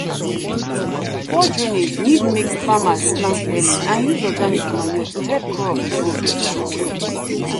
poor drainage need make farmers plant early and use organic manure to help crops grow better.